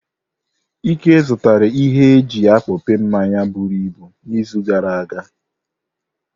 Ike zụtara ihe eji akpope mmanyi buruibu n'izu gara aga.